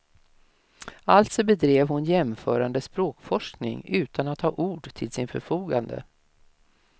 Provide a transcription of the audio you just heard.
Alltså bedrev hon jämförande språkforskning utan att ha ord till sitt förfogande.